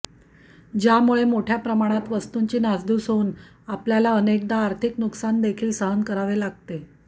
ज्यामुळे मोठय़ा प्रमाणात वस्तूंची नासधूस होऊन आपल्याला अनेकदा आर्थिक नुकसान देखील सहन करावे लागते